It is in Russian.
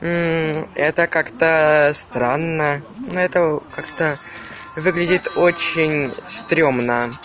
это как-то странно это как-то выглядит очень стремно